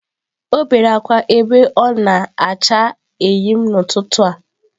O bere akwa ebe o na-acha eyịm n'ụtụtụ a.